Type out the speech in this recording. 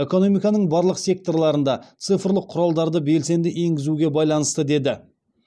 экономиканың барлық секторларында цифрлық құралдарды белсенді енгізуге байланысты деді